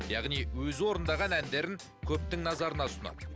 яғни өзі орындаған әндерін көптің назарына ұсынады